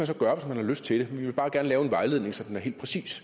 så gøre hvis man har lyst til det vi vil bare gerne lave en vejledning så den er helt præcis